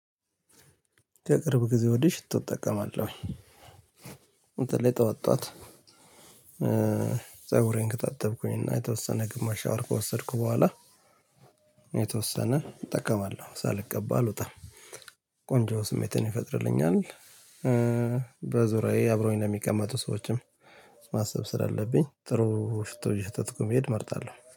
ከቅርብ ጊዜ ወዲህ ሽቶ እጠቀማለሁ። በተለይ ጧት ጧት። ፀጉሬን ከታጠብኩኝና የተወሰነ ግማሽ ሻወር ከወሰድኩ በኋላ። የተወሰነ እጠቀማለሁ ሳልቀባ አልወጣም። ቆንጆ ስሜትን ይፈጥርልኛል። በዙሪያዬ አብሮኝ እንደሚቀመጡ ሰዎችም ማሰብ ስላለብኝ ጥሩ ሽቶ እየሸተትኩ መሄድ እመርጣለሁ